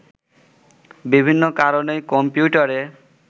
বিভিন্ন কারণেই কম্পিউটারে